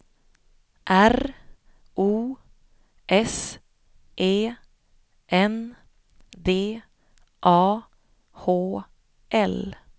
R O S E N D A H L